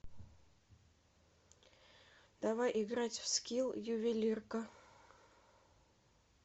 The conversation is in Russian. давай играть в скилл ювелирка